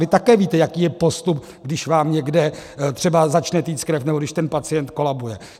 Vy také víte, jaký je postup, když vám někde třeba začne téct krev nebo když ten pacient kolabuje.